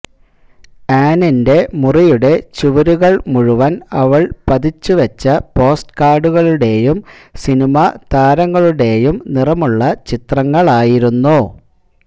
ആനിന്റെ മുറിയുടെ ചുവരുകള് മുഴുവന് അവള് പതിച്ചു വെച്ച പോസ്റ്റ് കാര്ഡുകളുടെയും സിനിമാ താരങ്ങളുടെയും നിറമുള്ള ചിത്രങ്ങളായിരുന്നു